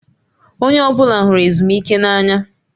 Onye ọbụla hụrụ ezumike n'anya